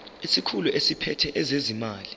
isikhulu esiphethe ezezimali